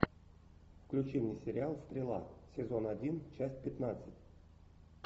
включи мне сериал стрела сезон один часть пятнадцать